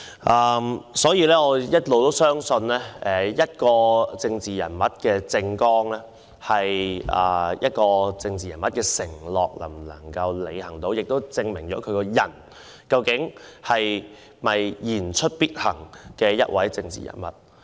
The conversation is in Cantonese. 我一直相信一個政治人物的政綱，就是那人的承諾，而能否履行其承諾決定那人是否言出必行。